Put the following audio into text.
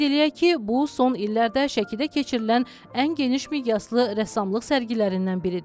Qeyd eləyək ki, bu son illərdə Şəkidə keçirilən ən geniş miqyaslı rəssamlıq sərgilərindən biridir.